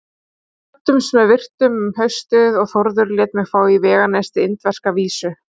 Við kvöddumst með virktum um haustið og Þórður lét mig fá í veganesti indverska vísu.